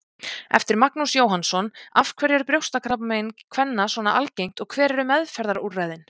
Eftir Magnús Jóhannsson Af hverju er brjóstakrabbamein kvenna svona algengt og hver eru meðferðarúrræðin?